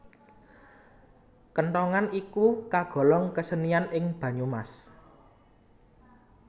Kenthongan iku kagolong kesenian ing Banyumas